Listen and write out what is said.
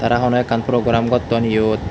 aa honna ekkan program gotton iyot.